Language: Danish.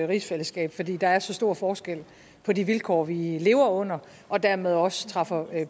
rigsfællesskab fordi der er så stor forskel på de vilkår vi lever under og dermed også træffer